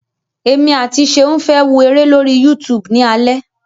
Èmi àti Ṣeun fẹ́ wo eré lórí YouTube ni alẹ́.